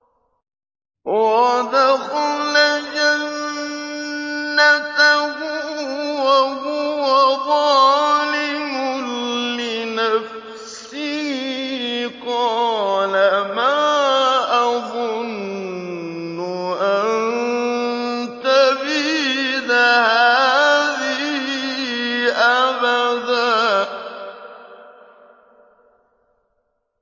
وَدَخَلَ جَنَّتَهُ وَهُوَ ظَالِمٌ لِّنَفْسِهِ قَالَ مَا أَظُنُّ أَن تَبِيدَ هَٰذِهِ أَبَدًا